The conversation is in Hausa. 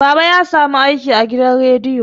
baba ya samu aiki a gidan reiyo